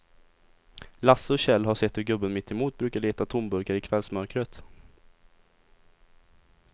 Lasse och Kjell har sett hur gubben mittemot brukar leta tomburkar i kvällsmörkret.